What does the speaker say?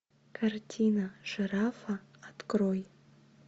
картина жирафа открой